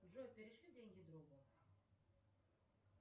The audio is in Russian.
джой перешли деньги другу